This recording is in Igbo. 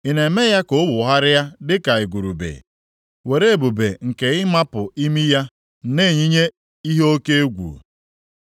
Ị na-eme ya ka ọ wụgharịa dịka igurube, were ebube + 39:20 Maọbụ, nganga nke ịmapụ imi ya na-eyinye ihe oke egwu?